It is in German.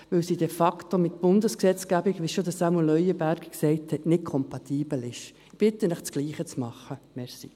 Denn diese ist de facto, wie schon Sämu Leuenberger gesagt hat, nicht mit der Bundesgesetzgebung kompatibel.